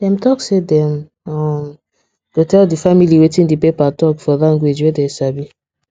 dem talk say dem um go tell the family wetin the paper talk for language wey dem sabi